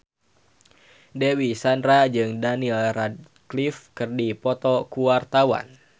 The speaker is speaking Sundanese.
Dewi Sandra jeung Daniel Radcliffe keur dipoto ku wartawan